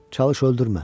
Çalış öldürmə.